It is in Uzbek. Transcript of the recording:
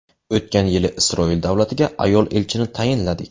O‘tgan yili Isroil davlatiga ayol elchini tayinladik.